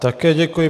Také děkuji.